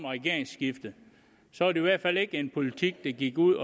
regeringsskifte så i hvert fald ikke en politik der gik ud